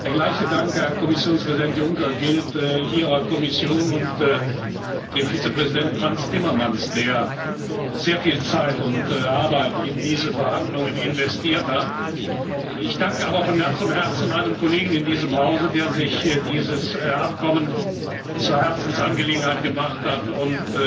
Der gleiche Dank, Herr Kommissionspräsident Juncker, gilt Ihrer Kommission und dem Vizepräsidenten Frans Timmermans, der sehr viel Zeit und Arbeit in diese Verhandlungen investiert hat. Ich danke aber von ganzem Herzen einem Kollegen in diesem Hause, der sich diese Vereinbarung zur Herzensangelegenheit gemacht hat